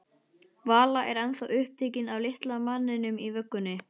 Vala var ennþá upptekin af litla manninum í vöggunni.